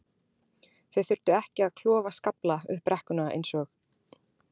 Þau þurftu ekki að klofa skafla upp brekkuna eins og